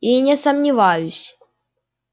и не сомневаюсь